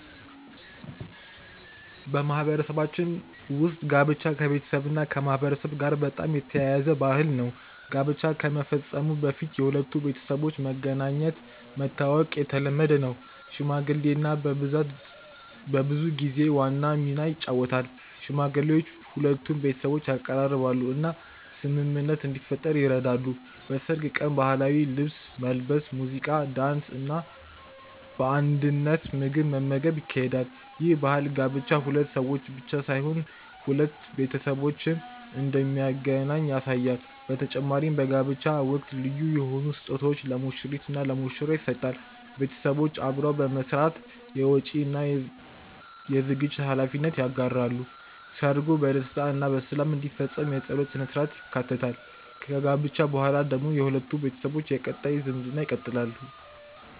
በማህበረሰባችን ውስጥ ጋብቻ ከቤተሰብና ከማህበረሰብ ጋር በጣም የተያያዘ ባህል ነው። ጋብቻ ከመፈጸሙ በፊት የሁለቱ ቤተሰቦች መገናኘትና መተዋወቅ የተለመደ ነው። ሽምግልና በብዙ ጊዜ ዋና ሚና ይጫወታል፤ ሽማግሌዎች ሁለቱን ቤተሰቦች ያቀራርባሉ እና ስምምነት እንዲፈጠር ይረዳሉ። በሰርግ ቀን ባህላዊ ልብስ መልበስ፣ ሙዚቃ፣ ዳንስ እና በአንድነት ምግብ መመገብ ይካሄዳል። ይህ ባህል ጋብቻ ሁለት ሰዎች ብቻ ሳይሆን ሁለት ቤተሰቦችን እንደሚያገናኝ ያሳያል በተጨማሪም በጋብቻ ወቅት ልዩ የሆኑ ስጦታዎች ለሙሽሪት እና ለሙሽራ ይሰጣል ቤተሰቦች አብረው በመስራት የወጪ እና የዝግጅት ሀላፊነት ይጋራሉ። ሰርጉ በደስታ እና በሰላም እንዲፈጸም የጸሎት ሥነ-ሥርዓትም ይካተታል። ከጋብቻ በኋላ ደግሞ ሁለቱ ቤተሰቦች የቀጣይ ዝምድና ይቀጥላሉ።